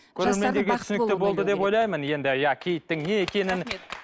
ойлаймын енді иә киіттің не екенін